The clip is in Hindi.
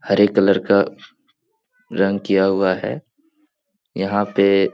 हरे कलर का रंग किया हुआ है यहाँ पे --